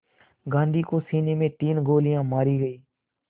गांधी को सीने में तीन गोलियां मारी गईं